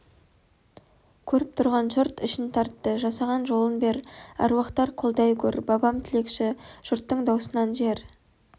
көріп тұрған жұрт ішін тартты жасаған жолын бер әруақтар қолдай гөр бабам тілекші жұрттың даусынан жер